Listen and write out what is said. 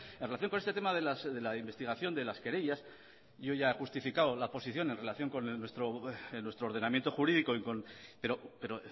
en relación con este tema de la investigación de las querellas yo ya he justificado la posición en relación con nuestro ordenamiento jurídico pero